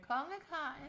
Kongekajen?